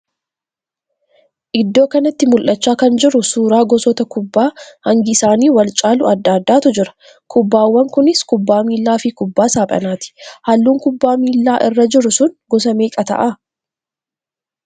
Iddoo kanatti mul'achaa kan jiru suuraa gosoota kubbaa hangi isaanii wal caalu adda addaatu jira. Kubbaawwan kunis kubbaa miillaa fi kubbaa saaphanaati. halluun kubbaa miillaa irra jiru sun gosa meeqa ta'a?